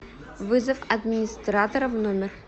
вызов администратора в номер